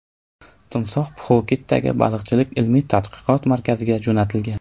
Timsoh Pxuketdagi baliqchilik ilmiy-tadqiqot markaziga jo‘natilgan.